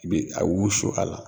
I bi a wusu a la